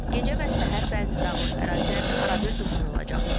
Gecə və səhər bəzi dağlıq ərazilərdə arabir duman olacaq.